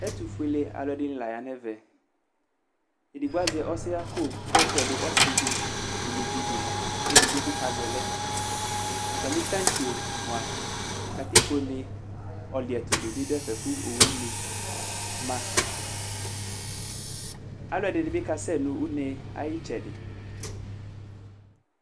Ɛtʋfuelealʋ ɛdɩnɩ la ya nʋ ɛvɛ Edigbo azɛ ɔsɛɣako kʋ ayɔ tɛdʋ ɔsɩ dɩ nʋ uluvi dɩ; kʋ edigbo bɩ kazɛ lɛ Atamɩ taŋtse mʋa, katikpone ɔlɩɛtʋ dɩ bɩ dʋ ɛfɛ kʋ owʋlɩ ma Alʋ ɛdɩnɩ bɩ kasɛ nʋ une yɛ ayɩtsɛdɩ